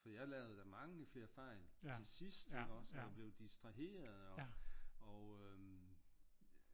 For jeg lavede da mange flere fejl til sidst ikke også og blev distraheret og øh